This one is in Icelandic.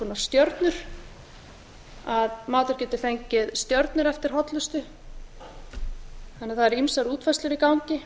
stjórn að matur geti fengið stjörnur eftir hollustu þannig að það eru ýmsar útfærslur í gangi